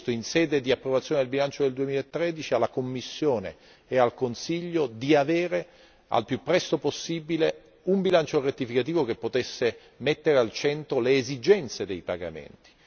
In sede di approvazione del bilancio del 2013, avevamo chiesto a Commissione e Consiglio di presentare al più presto possibile un bilancio rettificativo che potesse mettere al centro le esigenze dei pagamenti.